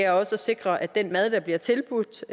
også sikrer at den mad der bliver tilbudt